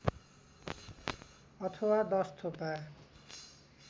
अथवा १० थोपा